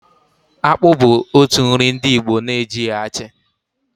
Akpụ bu otu nri ndị Igbo na-ejighi achị.